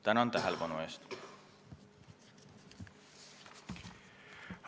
Tänan tähelepanu eest!